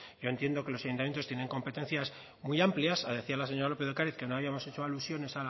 yo entiendo que los ayuntamientos tienen competencias muy amplias lo decía la señora lópez de ocariz que no habíamos hecho alusiones